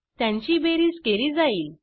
त्यांची बेरीज केली जाईल